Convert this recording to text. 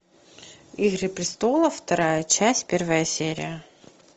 игры престолов вторая часть первая серия